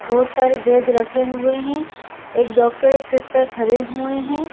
बहुत सारे वेद रखे हुए हैं एक डॉक्टर एक सिस्टर खड़े हुए हैं।